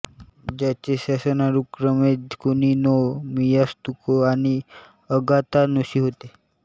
ज्यांचे शासन अनुक्रमे कुनी नो मियात्सुको आणि अगातानुशी होते